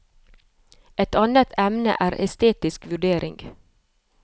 Et annet emne er estetisk vurdering.